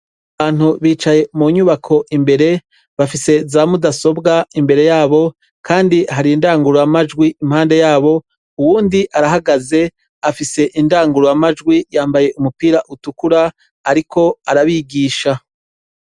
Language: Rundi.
Abantu bicaye munyubako imbere bafise za mudasobwa imbere yabo kandi hari indanguramajwi impande yabo uwundi arahagaze afise indanguramajwi yambaye umupira utukura ariko arabigisha.